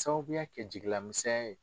Sababuya kɛ jigila misɛnya ye.